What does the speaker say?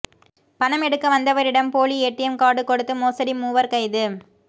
பணம் எடுக்க வந்தவரிடம் போலி ஏடிஎம் காா்டு கொடுத்து மோசடி மூவா் கைது